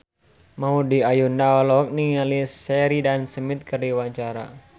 Maudy Ayunda olohok ningali Sheridan Smith keur diwawancara